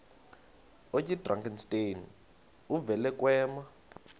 oyidrakenstein uvele kwema